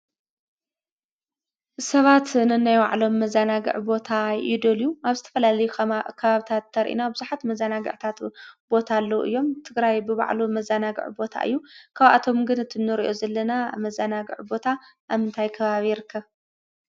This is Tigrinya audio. ሰባት ነናይ ባዕሎም መዘናግዒ ቦታ ይደልዩ፡፡ ኣብ ዝተፈላለየ ከባቢታት እንተርኢና ብዙሓት መዘናግዕታት ቦታ ኣለዉ እዮም። ትግራይ ብባዕሉ መዘናግዒ ቦታ እዩ። ካብኣቶም ግን እቲ ንሪኦ ዘለና መዘናግዒ ቦታ ኣብ ምንታይ ከባቢ ይርከብ?